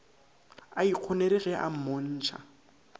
a ikgonere ge a mmontšha